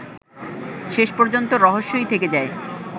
শেষ পর্যন্ত রহস্যই থেকে যায়